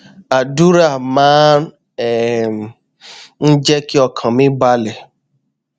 àdúrà máa um ń jé kí ọkàn mi balè